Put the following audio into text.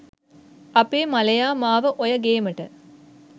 අපේ මලයා මාව ඔය ගේමට